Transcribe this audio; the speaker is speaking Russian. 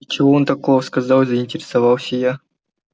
и чего он такого сказал заинтересовался я